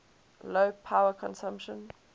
low power consumption